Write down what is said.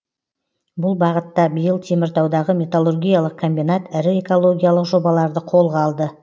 бұл бағытта биыл теміртаудағы металлургиялық комбинат ірі экологиялық жобаларды қолға алды